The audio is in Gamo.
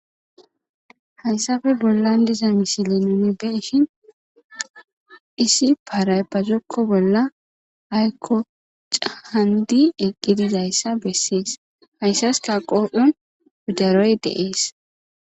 Haysafe bollan diza misili ninibeishin isi paraypazokko bolla aykko cahandi eqqidizayssa bessees hayssas taqoo7on udaroy deees.